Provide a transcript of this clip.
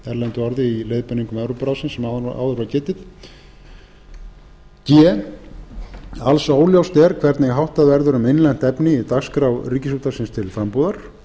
erlendu orði í leiðbeiningum evrópuráðsins sem áður var getið g alls óljóst er hvernig háttað verður um innlent efni í dagskrá ríkisútvarpsins til frambúðar